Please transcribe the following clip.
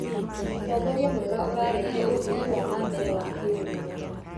Ũtongoria mwega ũrarehe ũthii wa na mbere wa kĩũtonga.